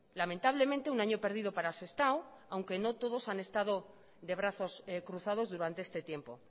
lamentablemente un año perdido para sestao aunque no todos han estado de brazos cruzados durante este tiempo